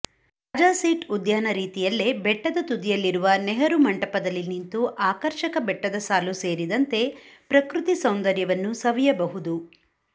ರಾಜಸೀಟ್ ಉದ್ಯಾನ ರೀತಿಯಲ್ಲೇ ಬೆಟ್ಟದ ತುದಿಯಲ್ಲಿರುವ ನೆಹರು ಮಂಟಪದಲ್ಲಿನಿಂತು ಅಕರ್ಷಕ ಬೆಟ್ಟದ ಸಾಲು ಸೇರಿದಂತೆ ಪ್ರಕೃತಿ ಸೌಂದರ್ಯವನ್ನು ಸವಿಯಬಹುದು